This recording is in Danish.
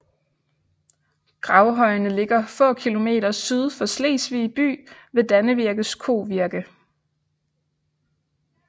Gravhøjene ligger få kilometer syd for Slesvig by ved Dannevirkes Kovirke